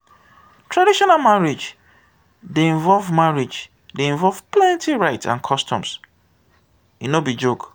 traditional marriage dey involve marriage dey involve plenty rites and customs; e no be joke.